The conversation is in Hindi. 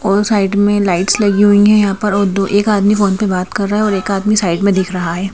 और साइड में लाइट्स लगी हुई है यहाँ पर और दो एक आदमी फोन पर बात कर रहा है और एक आदमी साइड में दिख रहा है।